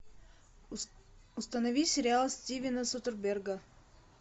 установи сериал стивена содерберга